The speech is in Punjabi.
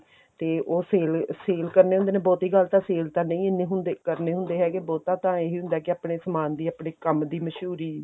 ਤੇ ਉਹ sale sale ਕਰਨੇ ਹੁੰਦੇ ਨੇ ਬਹੁਤੀ ਗੱਲ ਤਾਂ sale ਤਾਂ ਨਹੀਂ ਇੰਨੀ ਹੁੰਦੀ ਕਰਨੇ ਹੁੰਦੇ ਹੈਗੇ ਬਹੁਤਾ ਤਾਂ ਇਹੀ ਹੁੰਦਾ ਕੀ ਆਪਣੇ ਸਮਾਨ ਦੀ ਆਪਣੇ ਕੰਮ ਦੀ ਮਸ਼ਹੂਰੀ